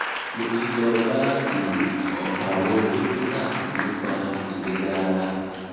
mo ti lọ bá um ọpọ àwọn dókítà nípa ìlera ara